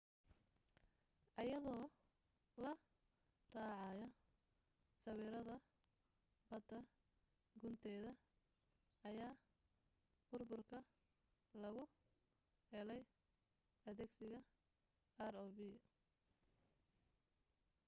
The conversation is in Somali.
iyadoo la raacayo sawirada badda gunteeda ayaa burburka lagu helay adeegsiga rov